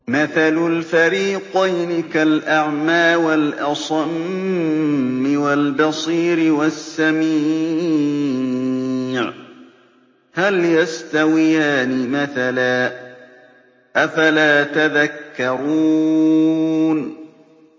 ۞ مَثَلُ الْفَرِيقَيْنِ كَالْأَعْمَىٰ وَالْأَصَمِّ وَالْبَصِيرِ وَالسَّمِيعِ ۚ هَلْ يَسْتَوِيَانِ مَثَلًا ۚ أَفَلَا تَذَكَّرُونَ